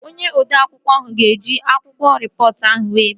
Onye odeakwụkwọ ahụ ga eji akwụkwọ rịpọtụ ahụ were bia